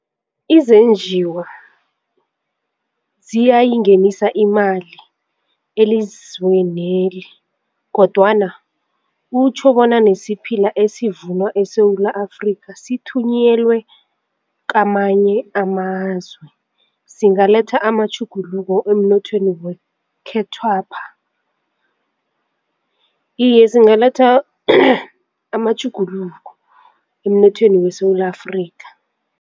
Izenjiwa ziyayingenisa imali elizweneli kodwana kutjho bona nesiphila esivunwa eSewula Afrika sithunyelwe kamanye amazwe zingaleletha amatjhuguluko emnothweni wekhethwapha? iye zingaletha amatjhuguluko emnothweni weSewula Afrika.